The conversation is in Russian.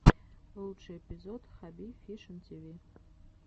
лучший эпизод хабби фишин тиви